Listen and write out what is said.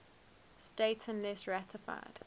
states unless ratified